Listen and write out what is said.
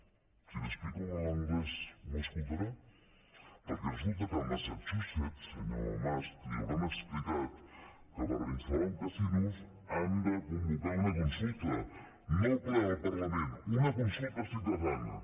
si li ho explico en anglès m’escoltarà perquè resulta que a massachusetts senyor mas li deuen haver explicat que per instal·lar un casino han de convocar una consulta no el ple del parlament una consulta ciutadana